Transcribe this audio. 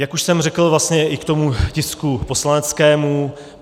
Jak už jsem řekl, vlastně i k tomu tisku poslaneckému.